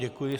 Děkuji.